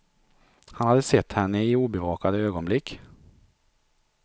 Han hade sett henne i obevakade ögonblick.